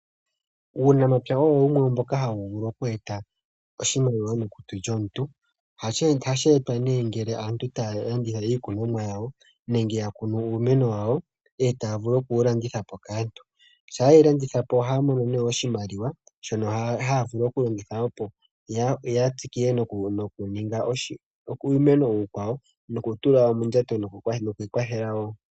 Uunamapya owo wumwe mboka ha wu vulu okwetapo oshimaliwa mondjato yomuntu, ohashi etwa ne ngele aantu yalandithapo iimeno wa wo opo ya vule okwi imonena oshimaliwa sho kwi kwathela nasho.